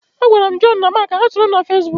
Agwara m Joonu na Maak ka ha soro m na Feesbuk.